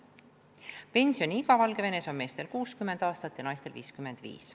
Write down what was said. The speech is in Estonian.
Pensioniiga on Valgevenes meestel 60 aastat ja naistel 55.